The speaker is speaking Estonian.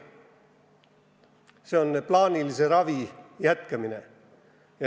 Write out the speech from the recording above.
See on plaanilise ravi jätkamine.